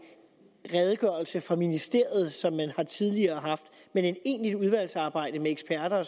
redegørelse fra ministeriet som man tidligere har haft men et egentligt udvalgsarbejde med eksperter